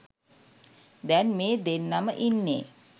දැන් මේ දෙන්නම ඉන්නේ